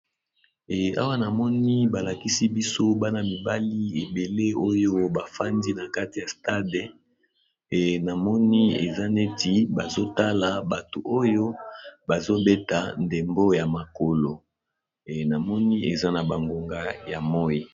awa namoni balakisi biso bana mibali ebele oyo bafandi na kati ya stade namoni eza neti bazotala bato oyo bazobeta ndembo ya makolo namoni eza na bangonga ya moi